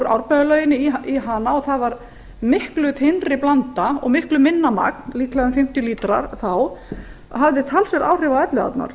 árbæjarlauginni í elliðaárnar það var miklu þynnri blanda og miklu minna magn líklega um fimmtíu lítrar þá en hafði talsverð áhrif á elliðaárnar